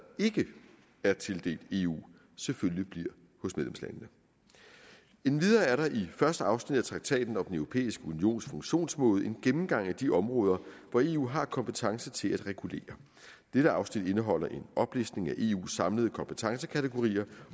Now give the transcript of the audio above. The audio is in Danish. ikke er tildelt eu selvfølgelig bliver hos medlemslandene endvidere er der i første afsnit af traktaten om den europæiske unions funktionsmåde en gennemgang af de områder hvor eu har kompetence til at regulere dette afsnit indeholder en oplistning af eus samlede kompetencekategorier